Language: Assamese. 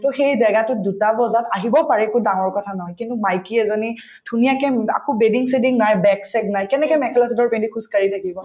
সেই জেগাতোত দুটা বজাত আহিব একো ডাঙৰ কথা নহয় কিন্তু মাইকী এজনী ধুনীয়াকে আকৌ চেদিং নাই bag চেগ নাই কেনেকে মেখেলা-চাদৰ পিন্ধি খোজকাঢ়ি থাকিব